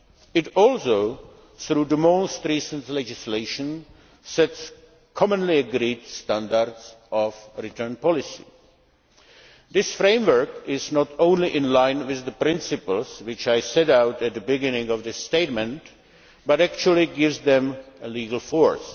It also, through the most recent legislation, sets commonly agreed standards on return policy. This framework is not only in line with the principles I set out at the beginning of my statement, but actually gives them legal force.